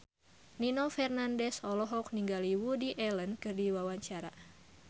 Nino Fernandez olohok ningali Woody Allen keur diwawancara